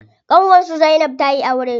Ƙanwar su zainab tayi aure.